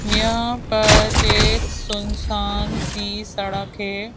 यहां पर एक सुनसान सी सड़क है।